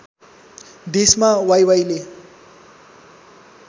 देशमा वाइवाइले